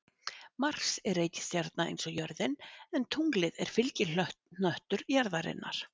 Mars er reikistjarna eins og jörðin en tunglið er fylgihnöttur jarðarinnar.